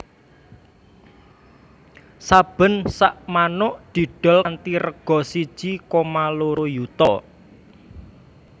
Saben sakmanuk didol kanthi rega siji koma loro yuta